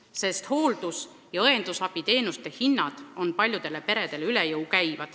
Sellepärast, et hooldus- ja õendusabiteenuste hinnad käivad paljudel peredel üle jõu.